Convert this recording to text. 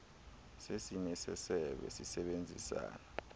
sesini sesebe sisebenzisana